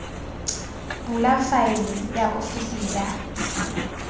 bula faele ya ofisi ya